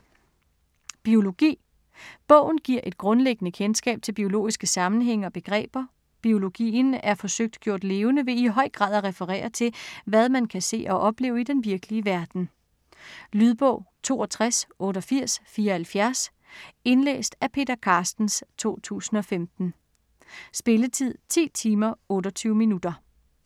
Biologi Bogen giver et grundlæggende kendskab til biologiske sammenhænge og begreber. Biologien er forsøgt gjort levende ved i høj grad at referere til, hvad man kan se og opleve i den virkelige verden. Lydbog 628874 Indlæst af Peter Carstens, 2015. Spilletid: 10 timer, 28 minutter.